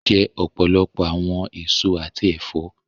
Jẹ ọpọlọpọ̀ awọn èsọ̀ àti ẹ̀fọ̀!